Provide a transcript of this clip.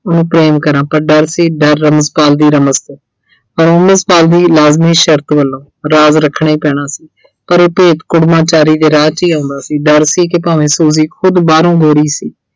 ਉਹਨੂੰ ਪ੍ਰੇਮ ਕਰਾਂਂ ਪਰ ਡਰ ਸੀ ਡਰ ਤੋਂ ਪਰ ਲਾਜ਼ਮੀ ਸ਼ਰਤ ਵੱਲੋਂ ਰਾਜ਼ ਰੱਖਣਾ ਹੀ ਪੈਣਾ ਸੀ। ਪਰ ਇਹ ਭੇਤ ਕੁੜਮਾਚਾਰੀ ਦੇ ਰਾਹ 'ਚ ਹੀ ਆਉਂਦਾ ਸੀ। ਡਰ ਸੀ ਕਿ ਭਾਵੇਂ Suji ਖੁਦ ਬਾਹਰੋਂ ਗੋਰੀ ਸੀ।